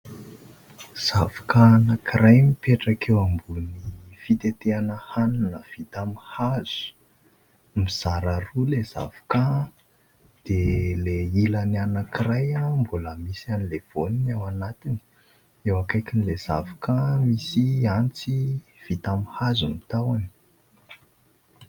Zavoka anankiray mipetraka eo ambony fitetehana hanina vita amin'ny hazo. Mizara roa ilay zavoka dia ilay ilany anankiray mbola misy an'ilay voany ao anatiny. Eo akaikin'ilay zavoka misy antsy vita alin'ny hazo ny tahony.